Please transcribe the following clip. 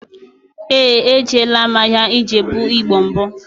Éè, ejela m ahịa Ijebu igbo mbụ